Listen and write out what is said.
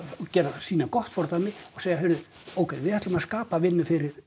sýna gott fordæmi og segja heyrðu ókei við ætlum að skapa vinnu fyrir